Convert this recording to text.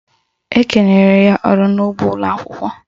Ekenyere ya ọrụ n'ụgbọ ụlọakwụkwọ